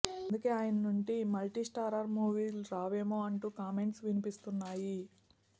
అందుకే ఆయన నుండి మల్టీస్టారర్ సినిమాలు రావేమో అంటూ కామెంట్స్ వినిపిస్తున్నాయి